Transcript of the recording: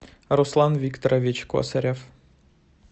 руслан викторович косарев